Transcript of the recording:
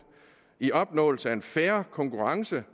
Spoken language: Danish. i opnåelsen af en fair konkurrence